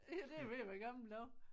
Ja det er ved at være gamle dage